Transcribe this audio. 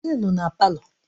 Onye nọ na palọ?